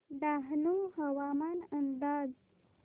डहाणू हवामान अंदाज